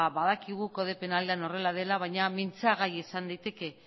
ba badakigu kode penalean horrela dela baina mintzagai izan liteke